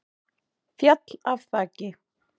Féll af þaki